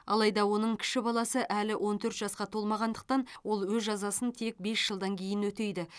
алайда оны кіші баласы әлі он төрт жасқа толмағандықтан ол өз жазасын тек бес жылдан кейін өтейді